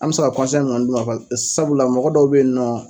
An bɛ se ka mun kɔni dun man sabula mɔgɔ dɔw bɛ ye nɔ.